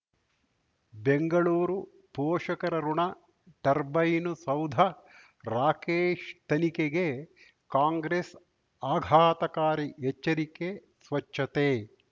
ಬೆಂಗಳೂರು ಪೋಷಕರಋಣ ಟರ್ಬೈನು ಸೌಧ ರಾಕೇಶ್ ತನಿಖೆಗೆ ಕಾಂಗ್ರೆಸ್ ಆಘಾತಕಾರಿ ಎಚ್ಚರಿಕೆ ಸ್ವಚ್ಛತೆ